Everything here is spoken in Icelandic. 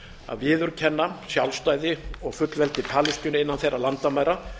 að viðurkenna sjálfstæði og fullveldi palestínu innan þeirra landamæra